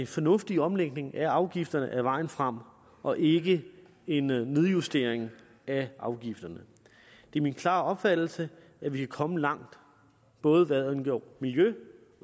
fornuftig omlægning af afgifterne er vejen frem og ikke en nedjustering af afgifterne det er min klare opfattelse at vi kan komme langt både hvad angår miljø